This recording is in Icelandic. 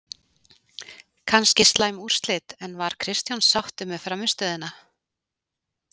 Kannski slæm úrslit, en var Kristján sáttur með frammistöðuna?